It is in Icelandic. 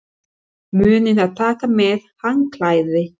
Munið að taka með handklæði!